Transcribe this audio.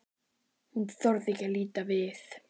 Hún þorir ekki að líta við.